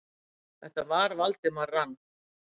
Þetta var Valdimar rann